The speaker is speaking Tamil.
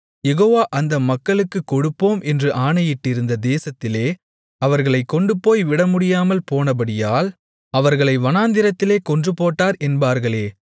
யெகோவா அந்த மக்களுக்குக் கொடுப்போம் என்று ஆணையிட்டிருந்த தேசத்திலே அவர்களைக் கொண்டுபோய்விடமுடியாமல் போனபடியால் அவர்களை வனாந்திரத்திலே கொன்றுபோட்டார் என்பார்களே